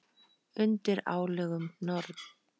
Undir álögum Norn!